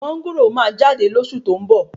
Máńgòrò máa jáde lósù tó ń bọ